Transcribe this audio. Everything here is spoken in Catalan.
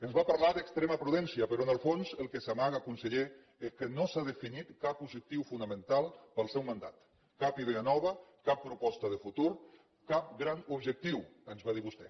ens va parlar d’extrema prudència però en el fons el que s’amaga conseller és que no s’ha definit cap objectiu fonamental per al seu mandat cap idea nova cap proposta de futur cap gran objectiu ens va dir vostè